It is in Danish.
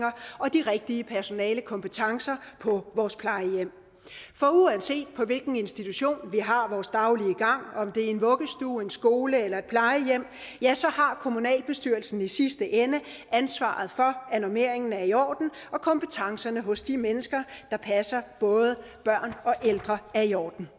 og de rigtige personalekompetencer på vores plejehjem for uanset på hvilken institution vi har vores daglige gang om det er en vuggestue en skole eller et plejehjem ja så har kommunalbestyrelsen i sidste ende ansvaret for at normeringen er i orden og kompetencerne hos de mennesker der passer både børn og ældre er i orden